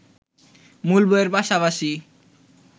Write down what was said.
মূল বইয়ের পাশাপাশি